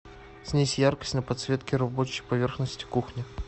снизь яркость на подсветке рабочей поверхности кухни